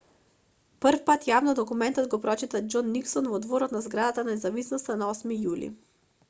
првпат јавно документот го прочита џон никсон во дворот на зградата на независноста на 8 јули